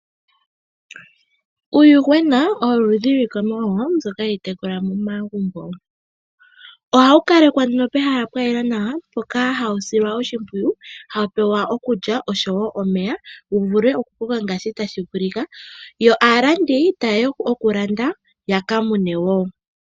Uuyuhwena owo oludhi lwiikwamawa mbyoka hayi tekulwa momagumbo. Ohawu kalekwa pehala lya yela nawa, mpoka hawu silwa oshimpwiyu, hawu pewa okulya oshowo omeya wu vule okukoka ngaashi tashi vulika. Yo aalandi taye ya okulanda ya ka mune wo.